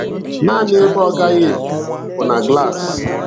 Nanị ebe ọ na-agaghị epu bụ na glass.